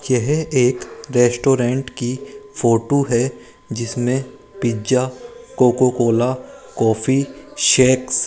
यह एक रेस्टोरेंट की फोटो है जिसमें pizza Coca Cola coffee shakes --